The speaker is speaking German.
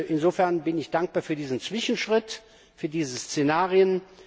Insofern bin ich dankbar für diesen Zwischenschritt, für diese Szenarien.